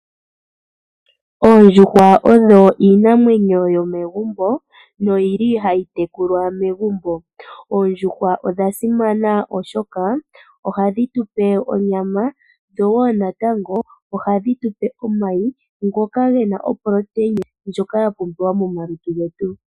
Oondjuhwa odho iinamwenyo yomegumbo nodhili hadhi tekulwa megumbo. Oondjuhwa odha simana oshoka ohadhi tupe onyama nosho wo natango omayi ngoka Gena o protein ndjoka ya pumbiwa momalutu getu.